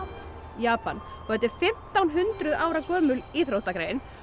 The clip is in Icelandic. Japan þetta er fimmtán hundruð ára gömul íþróttagrein